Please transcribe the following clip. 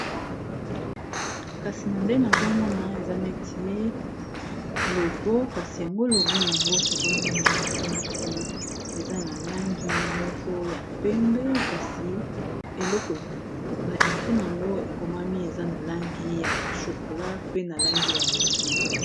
Kasi na Ndege nazomona Awa esa neto logo Kasi logo oyoeza na Langi ya penbe na Langi ya bozenga